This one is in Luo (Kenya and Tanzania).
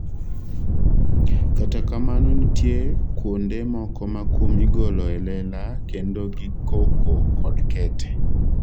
Kata kamano nitie kuonde moko ma kum igolo elela kendo gi koko kod kete,